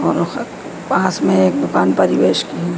और पास में एक दुकान परिवेश की--